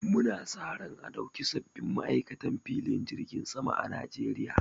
Mu na sa ran a ɗauki sabbin ma'aikatan filin jirgin sama a Najeriya